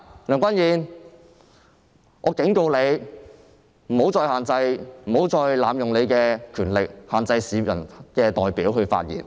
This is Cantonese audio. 梁君彥，我警告你，不要再濫用你的權力，限制市民的代表發言。